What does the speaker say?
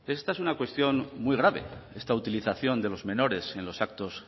esta es una cuestión muy grave esta utilización de los menores en los actos